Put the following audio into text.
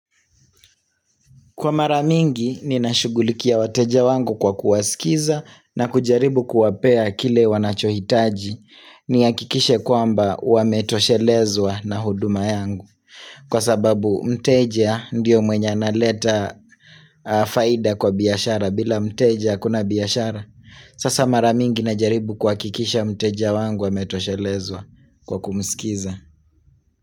Kwa mara mingi ninashughulikia wateja wangu kwa kuwasikiza na kujaribu kuwapea kile wanachohitaji nihakikishe kwamba wametoshelezwa na huduma yangu. Kwa sababu mteja ndiyo mwenye analeta faida kwa biashara bila mteja hakuna biashara. Sasa mara mingi najaribu kuhakikisha mteja wangu ametoshelezwa kwa kumsikiza.